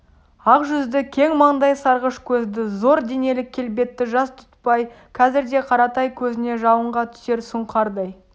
ақ жүзді кең маңдай сарғыш көзді зор денелі келбетті жас дүтбай қазірде қаратай көзіне жалынға түсер сұңқардай